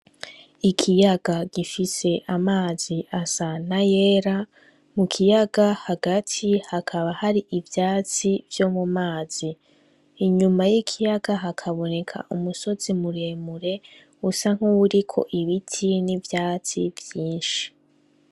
Ikiyaga gifise amazi asa n'ayera, mu kiyaga hagati hakaba hari ivyatsi vyo mu mazi. Inyuma y'ikiyaga hakaboneka umusozi muremure usa nk'uwuriko ibiti n'ivyatsi vyinshi.